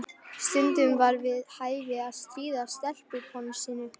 Stundum var við hæfi að stríða stelpusponsinu.